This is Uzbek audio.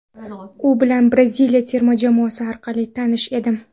U bilan Braziliya terma jamoasi orqali tanish edim.